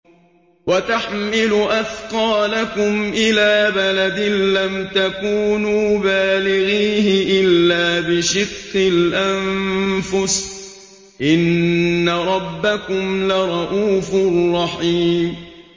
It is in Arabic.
وَتَحْمِلُ أَثْقَالَكُمْ إِلَىٰ بَلَدٍ لَّمْ تَكُونُوا بَالِغِيهِ إِلَّا بِشِقِّ الْأَنفُسِ ۚ إِنَّ رَبَّكُمْ لَرَءُوفٌ رَّحِيمٌ